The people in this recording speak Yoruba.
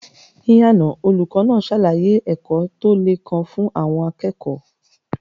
Ní àná, olùkọ́ náà ṣàlàyé ẹ̀kọ́ tó le kan fún àwọn akẹ́kọ̀ọ́.